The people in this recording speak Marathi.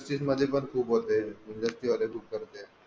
खूप होते